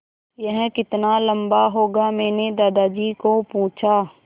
यह कितना लम्बा होगा मैने दादाजी को पूछा